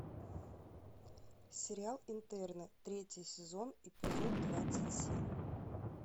сериал интерны третий сезон эпизод двадцать семь